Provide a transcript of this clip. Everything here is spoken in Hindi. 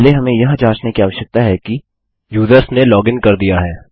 पहले हमें यह जाँचने की आवश्यकता है कि यूजर्स ने लॉगिन कर दिया है